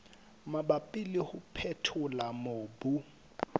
mabapi le ho phethola mobu